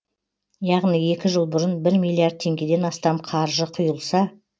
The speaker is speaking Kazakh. яғни екі жыл бұрын бір миллиард теңгеден астам қаржы құйылса